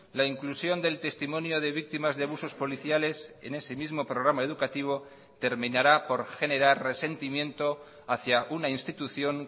la inclusión del testimonio de víctimas de abusos policiales en ese mismo programa educativo terminará por generar resentimiento hacía una institución